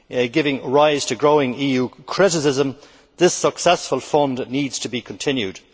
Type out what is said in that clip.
giving rise to growing EU criticism, this successful fund needs to be continued.